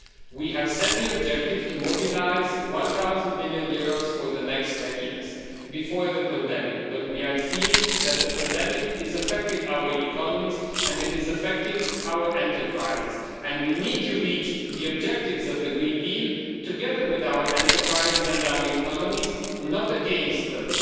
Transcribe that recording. We set the objective to mobilise EUR 1 trillion for the next 10 years before the pandemic, but we are seeing that the pandemic is affecting our economies, and it is affecting our enterprises, and we need to reach the objectives of the Green Deal together with our enterprises and with our economies, not against them.